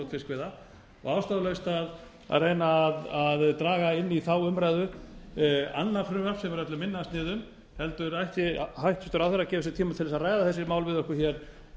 fiskveiða og ástæðulaust að reyna að draga inn í þá umræðu annað frumvarp sem er öllu minna að sniðum hæstvirtur ráðherra ætti heldur að gefa sér tíma til að ræða þessi mál við okkur með